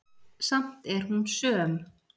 Samt er hún söm.